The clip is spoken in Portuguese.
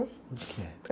Onde que é?